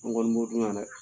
N kɔni b'o dun yan dɛ.